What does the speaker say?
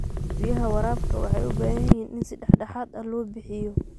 Biyaha waraabka waxay u baahan yihiin in si dhexdhexaad ah loo bixiyo.